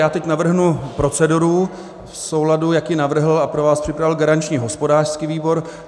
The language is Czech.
Já teď navrhnu proceduru v souladu, jak ji navrhl a pro vás připravil garanční hospodářský výbor.